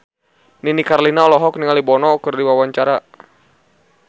Nini Carlina olohok ningali Bono keur diwawancara